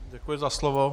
Děkuji za slovo.